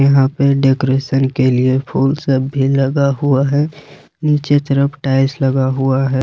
यहां पे डेकोरेशन के लिए फूल सब भी लगा हुआ है नीचे तरफ टाइल्स लगा हुआ है।